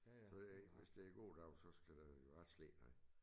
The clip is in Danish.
Så det hvis det en god dag så skal der jo så slæber han